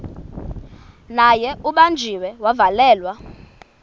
naye ubanjiwe wavalelwa